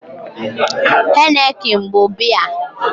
Heineken bụ biya